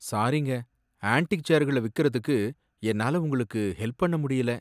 சாரிங்க, ஆன்ட்டிக் சேர்களை விக்கறதுக்கு என்னால உங்களுக்கு ஹெல்ப் பண்ண முடியல.